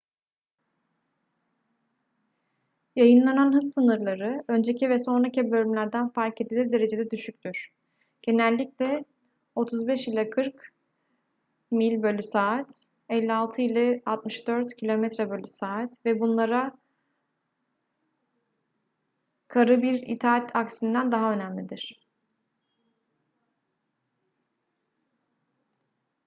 yayınlanan hız sınırları önceki ve sonraki bölümlerden fark edilir derecede düşüktür — genellikle 35-40 mph 56-64 km/s — ve bunlara karı bir itaat aksinden daha önemlidir